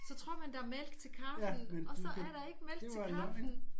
Så tror man der er mælk til kaffen og så er det ikke mælk til kaffen